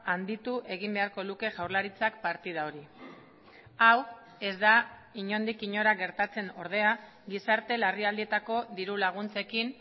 handitu egin beharko luke jaurlaritzak partida hori hau ez da inondik inora gertatzen ordea gizarte larrialdietako diru laguntzekin